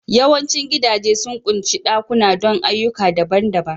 Yawancin gidaje sun ƙunshi ɗakuna don ayyuka daban-daban